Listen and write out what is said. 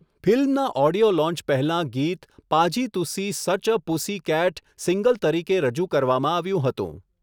ફિલ્મના audio launch પહેલાં ગીત 'Paaji Tussi such a pussycat' single તરીકે રજૂ કરવામાં આવ્યું હતું.